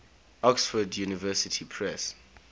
oxford university press